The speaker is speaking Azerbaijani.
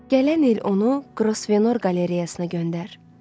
Gələn il onu Qrosvenor qalereyasına göndər.